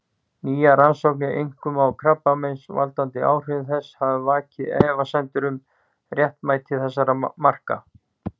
Nýjar rannsóknir, einkum á krabbameinsvaldandi áhrifum þess, hafa vakið efasemdir um réttmæti þessara marka.